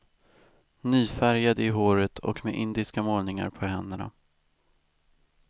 Nyfärgad i håret och med indiska målningar på händerna.